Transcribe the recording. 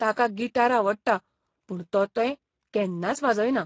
ताका गिटार आवडटा पूण तो तें केन्नाच वाजयना.